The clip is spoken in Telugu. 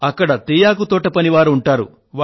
అక్కడ తేయాకు తోట పనివారు ఉంటారు